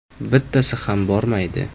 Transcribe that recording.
Bittasi ham bormaydi!